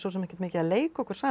ekkert mikið að leika okkur saman